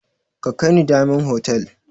Ka kai ni diyamond hotal